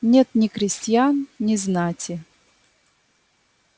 нет ни крестьян ни знати